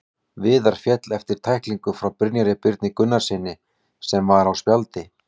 Viðar féll eftir tæklingu frá Brynjari Birni Gunnarssyni sem var á spjaldi.